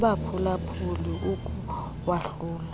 kubaphula phuli ukuwahlula